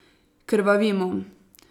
Krvavimo.